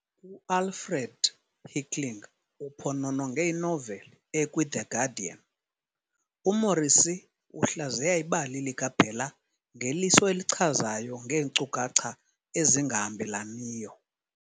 UAlfred Hickling uphonononge inoveli ekwiThe "Guardian" - "UMorrissy uhlaziya ibali likaBella ngeliso elichazayo ngeenkcukacha ezingahambelaniyo.